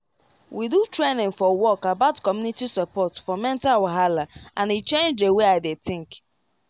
we do training for work about community support for mental wahala and e change the way i dey think